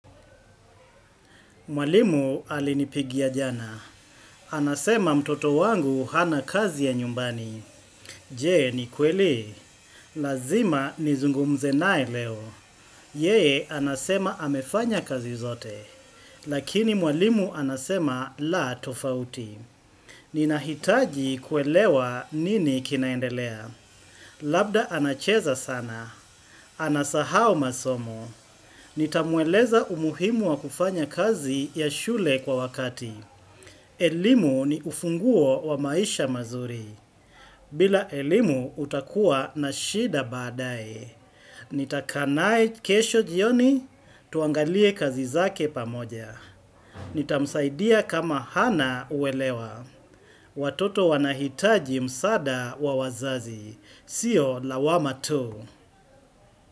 Mwalimu alinipigia jana. Anasema mtoto wangu hana kazi ya nyumbani. Jee ni kweli? Lazima nizungumze nae leo. Yee anasema amefanya kazi zote. Lakini mwalimu anasema la tofauti. Ninahitaji kuelewa nini kinaendelea. Labda anacheza sana. Anasahau masomo. Nitamweleza umuhimu wa kufanya kazi ya shule kwa wakati. Elimu ni ufunguo wa maisha mazuri. Bila elimu utakuwa na shida baadae. Nitakaa naye kesho jioni tuangalie kazi zake pamoja. Nitamsaidia kama hana uwelewa. Watoto wanahitaji msaada wa wazazi. Sio lawama tu.